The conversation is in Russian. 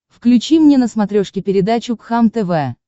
включи мне на смотрешке передачу кхлм тв